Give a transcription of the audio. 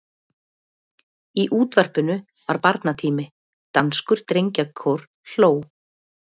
Í útvarpinu var barnatími: danskur drengjakór hló.